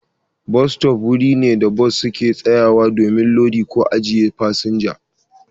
Bas sto wuri ne da su bas ke sayawa domin lodi ko ajiye su fasinja.